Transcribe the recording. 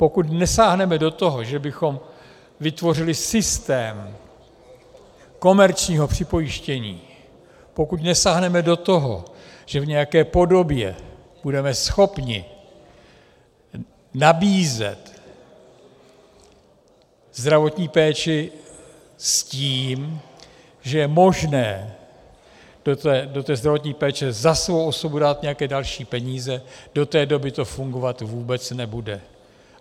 Pokud nesáhneme do toho, že bychom vytvořili systém komerčního připojištění, pokud nesáhneme do toho, že v nějaké podobě budeme schopni nabízet zdravotní péči s tím, že je možné do té zdravotní péče za svou osobu dát nějaké další peníze, do té doby to fungovat vůbec nebude.